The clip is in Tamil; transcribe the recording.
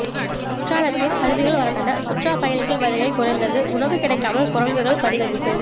குற்றாலத்தில் அருவிகள் வறண்டன சுற்றுலா பயணிகள் வருகை குறைந்தது உணவு கிடைக்காமல் குரங்குகள் பரிதவிப்பு